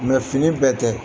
fini bɛɛ tɛ.